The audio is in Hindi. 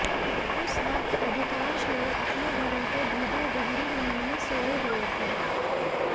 उस वक्त अधिकांश लोग अपने घरों के भीतर गहरी नींद में सोए हुए थे